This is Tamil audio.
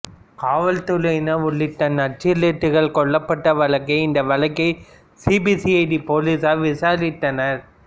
காவல்துறையினர் உள்ளிட்ட நக்சலைட்டுகள் கொல்லப்பட்ட வழக்கை இந்த வழக்கை சிபிசிஐடி போலீசார் விசாரித்தனர்